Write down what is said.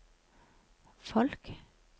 folk